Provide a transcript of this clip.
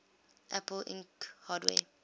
apple inc hardware